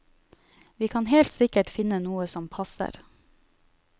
Vi kan helt sikkert finne noe som passer.